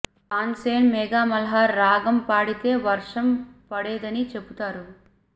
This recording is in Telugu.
తాన్ సేన్ మేఘ మల్హార్ రాగం పాడితే వర్షం పడేదని చెపుతారు